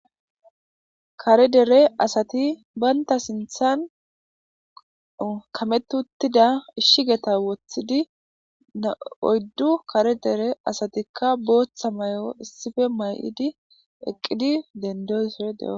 Kare dere asati baynta sinthan kametuttida ishigeta woththidi na'oyddu kare dere asatikka booththa mayo issife may'idi eqqidi dendoysore de'o